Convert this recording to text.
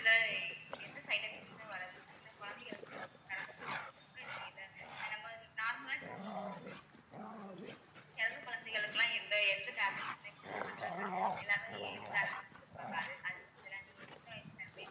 இதுல எந்த side effects மே வராது சின்ன குழந்தைகளுக்கு கூட பிறந்த குழந்தைகளுக்கு கூட நீங்க இதை நம்ம normal ஆ இப்போ பிறந்த குழந்தைகளுக்கெல்லாம் எந்த எந்த tablets மே கொடுக்க மாட்டாங்க எல்லாமே ஒரு age ல தான mam கொடுப்பாங்க அது அதுக்கு பதிலா நீங்க சின்ன வயசுல இருந்தே